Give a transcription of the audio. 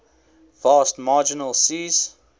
vast marginal seas